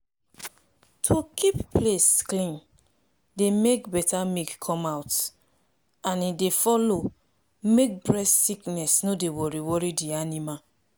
to dey keep place clean dey make better milk come out and e dey follow make breast sickness no dey worry worry di animal